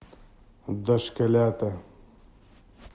дошколята